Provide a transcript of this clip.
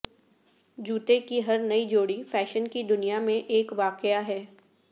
جوتے کی ہر نئی جوڑی فیشن کی دنیا میں ایک واقعہ ہے